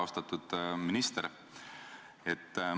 Austatud minister!